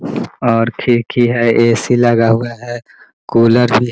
और खिड़की है ए.सी. लगा हुआ है कूलर भी --